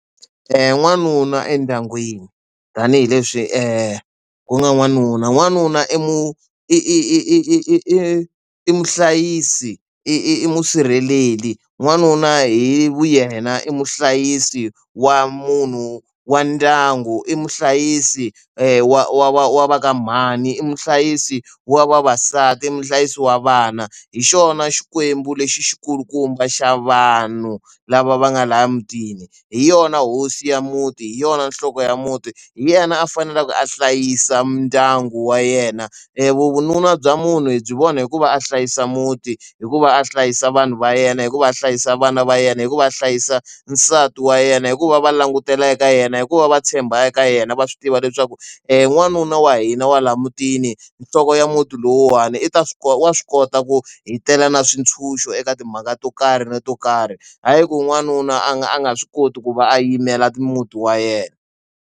N'wanuna endyangwini tanihileswi ku nga n'wanuna n'wanuna i mu i muhlayisi i musirheleli n'wanuna hi yena i muhlayisi wa munhu wa ndyangu i muhlayisi wa wa wa wa va ka mhani i muhlayisi wa vavasati i muhlayisi wa vana hi xona xikwembu lexi xi kulukumba xa vanhu lava va nga laha mutini hi yona hosi ya muti hi yona nhloko ya muti hi yena a faneleke a hlayisa ndyangu wa yena vununa bya munhu hi byi vona hikuva a hlayisa muti hikuva a hlayisa vanhu va yena hikuva a hlayisa vana va yena hikuva a hlayisa nsati wa yena hikuva va langutela eka yena hikuva va tshemba eka yena va swi tiva leswaku n'wanuna wa hina wa laha mutini nhloko ya muti lowuwani i ta swi kota wa swi kota ku hi tela na swintshuxo eka timhaka to karhi to karhi hayi ku n'wanuna a nga a nga swi koti ku va a yimela muti wa yena.